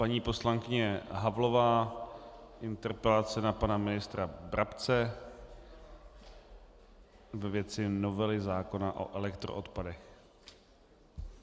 Paní poslankyně Havlová, interpelace na pana ministra Brabce ve věci novely zákona o elektroodpadech.